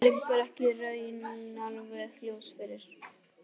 Þetta liggur í raun ekki alveg ljóst fyrir.